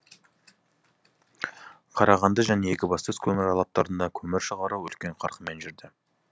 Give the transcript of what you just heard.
қарағанды және екібастұз көмір алаптарында көмір шығару үлкен қарқынмен жүрді